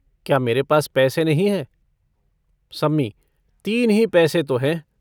क्या मेरे पास पैसे नहीं हैं, सम्मी तीन ही पैसे तो हैं।